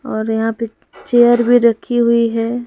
और यहां पे चेयर भी रखी हुई है।